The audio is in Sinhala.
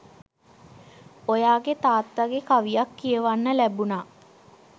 ඔයාගේ තාත්තගෙ කවියක් කියවන්න ලැබුණා